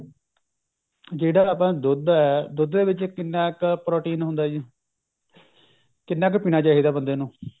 ਜਿਹੜਾ ਆਪਣਾ ਦੁੱਧ ਹੈ ਦੁੱਧ ਦੇ ਵਿੱਚ ਕਿੰਨਾ protein ਹੁੰਦਾ ਹੈ ਜੀ ਕਿੰਨਾ ਕ ਪੀਣਾ ਚਾਹਿਦਾ ਬੰਦੇ ਨੂੰ